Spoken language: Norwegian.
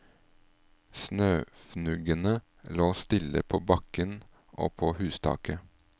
Snøfnuggene lå stille på bakken og på hustaket.